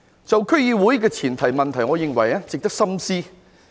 至於區議會的前途問題，我認為值得深思。